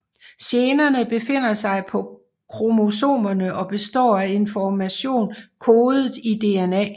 Generne befinder sig på kromosomerne og består af information kodet i DNA